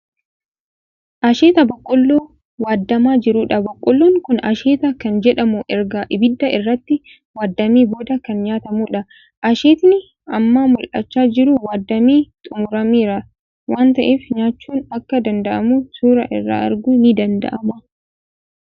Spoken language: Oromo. Asheeta Boqqolloo waaddamaa jirudha. Boqqollon kuni asheeta kan jedhamuu erga ibidda irratti waaddamee booda kan nyaatamuudha. Asheetni amma mul'achaa jiru waaddamee xummurameera waan ta'eef nyaachuun akka danda'amu suuraa irraa arguun ni danda'ama.